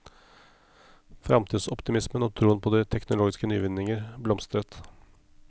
Fremtidsoptimismen og troen på de teknologiske nyvinninger blomstret.